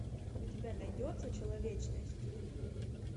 у тебя найдется человечность